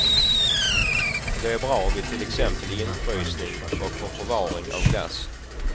Det är bra vid till exempel infrysning och för förvaring av glass.